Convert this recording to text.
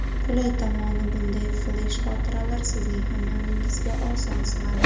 Qulay tomoni, bunday flesh-xotiralar sizning hamyoningizga oson sig‘adi.